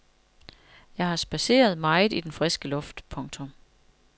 Jeg har spadseret meget i den friske luft. punktum